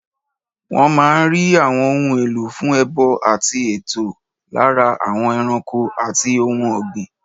Wọ́n máa n rí àwọn ohun èlò fún ẹbọ àti ètò látara àwọn ẹranko àti ohun ògbìn